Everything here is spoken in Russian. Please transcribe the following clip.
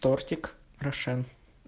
тортик рошен